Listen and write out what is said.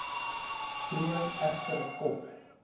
troon egter kop